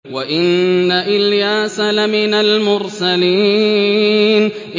وَإِنَّ إِلْيَاسَ لَمِنَ الْمُرْسَلِينَ